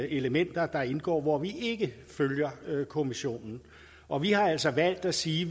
elementer der indgår hvor vi ikke følger kommissionen og vi har altså valgt at sige